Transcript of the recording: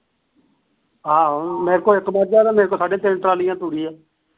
ਆਹੋ ਮੇਰੇ ਕੋਲ ਇੱਕ ਮੱਝ ਤੇ ਮੇਰੇ ਕੋਲ ਸਾਡੇ ਤਿੰਨ ਟਰਾਲੀ ਤੂੜੀ ਆ